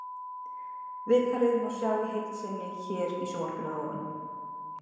Viðtalið má sjá í heild sinni hér í sjónvarpinu að ofan.